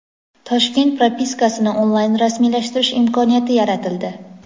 Toshkent propiskasini onlayn rasmiylashtirish imkoniyati yaratildi.